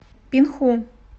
пинху